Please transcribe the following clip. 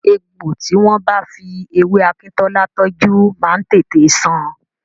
Egbò tí wọ́n bá fi ewé akíntọ́lá tọ́jú máa ń tètè san.